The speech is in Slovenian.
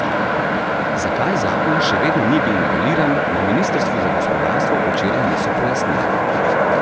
Zakaj zakon še vedno ni bil noveliran, na ministrstvu za gospodarstvo včeraj niso pojasnili.